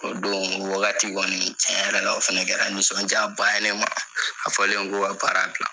O don, o wagati kɔni, tiɲɛ yɛrɛ la, o fɛnɛ kɛra nisɔndiya ba ye ma. A fɔlen ko ne ka baara bila